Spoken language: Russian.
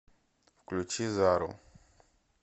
включи зару